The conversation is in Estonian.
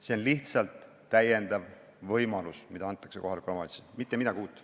See on lihtsalt lisavõimalus, mis antakse kohalikule omavalitsusele, mitte midagi uut.